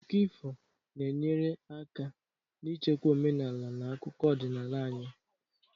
Akụkọ ifo na-enyere aka n'ichekwa omenala na akụkọ ọdịnala anyị